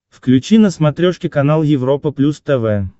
включи на смотрешке канал европа плюс тв